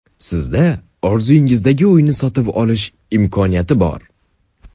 Sizda orzuyingizdagi uyni sotib olish imkoniyati bor!